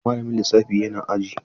Malamin lissafi yana aji?